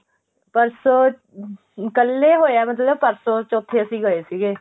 ਪਰਸੋੰ ਕੱਲ ਏ ਹੋਇਆ ਮਤਲਬ ਪਰਸੋੰ ਚੋਥੇ ਅਸੀਂ ਗਏ ਸੀਗੇ